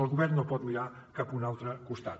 el govern no pot mirar cap a un altre costat